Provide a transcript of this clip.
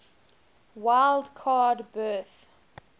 wild card berth